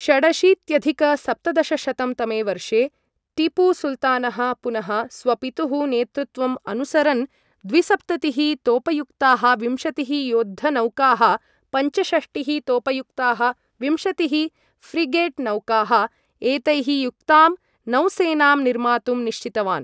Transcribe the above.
षडशीत्यधिक सप्तदशशतं तमे वर्षे टीपुसुल्तानः, पुनः स्वपितुः नेतृत्वं अनुसरन्, द्विसप्ततिः तोपयुक्ताः विंशतिः युद्धनौकाः, पञ्चषष्टिः तोपयुक्ताः विंशतिः फ्रिगेट् नौकाः एतैः युक्तां नौसेनां निर्मातुं निश्चितवान्।